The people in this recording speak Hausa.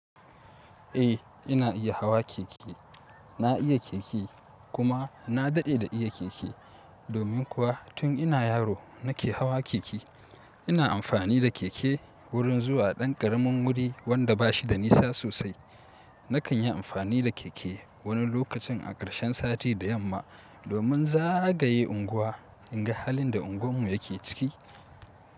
Eh ina iya hawa keke, na iya keke kuma na dade da iya keke, domin kuwa tun ina yaro nake hawa keke. Ina amfani da keke wurin zuwa ɗan karamin wuri wanda bashi da nisa sosai. Nakan yi amfani da keke wani lokacin a karshen sati da yamma domin zagaye unguwa in ga halin da unguwarmu yake ciki.